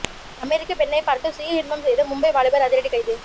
அமெரிக்க பெண்ணை பார்த்து சுய இன்பம் செய்த மும்பை வாலிபர் அதிரடி கைது